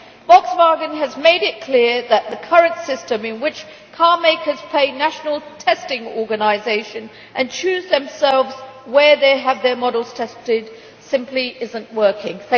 Volkswagen has made it clear that the current system in which car makers pay national testing organisations and choose themselves where they have their models tested simply is not working.